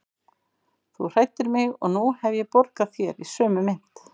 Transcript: Þú hræddir mig og nú hef ég borgað þér í sömu mynt.